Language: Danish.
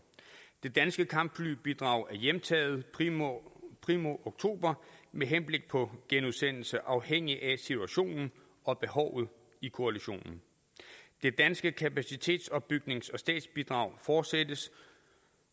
det danske kampflybidrag er hjemtaget primo primo oktober med henblik på genudsendelse afhængigt af situationen og behovet i koalitionen det danske kapacitetsopbygnings og stabsbidrag fortsættes